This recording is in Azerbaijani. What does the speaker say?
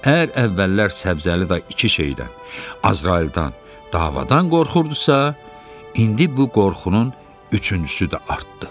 Əgər əvvəllər Səbzəli dayı iki şeydən – Azrayıldan, davadan qorxurdusa, indi bu qorxunun üçüncüsü də artdı.